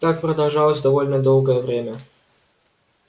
так продолжалось довольно долгое время